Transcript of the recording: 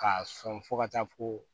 K'a sɔn fo ka taa fo